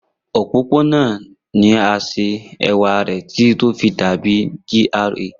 Opopona naa ni a ṣe ẹwa titi o fi dabi GRA